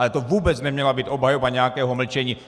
Ale to vůbec neměla být obhajoba nějakého mlčení!